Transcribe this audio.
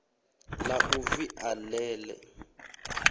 la u via le le